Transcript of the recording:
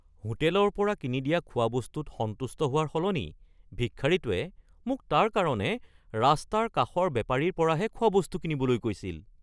হোটেলৰ পৰা কিনি দিয়া খোৱাবস্তুত সন্তুষ্ট হোৱাৰ সলনি ভিক্ষাৰীটোৱে মোক তাৰ কাৰণে ৰাস্তাৰ কাষৰ বেপাৰীৰ পৰাহে খোৱাবস্তু কিনিবলৈ কৈছিল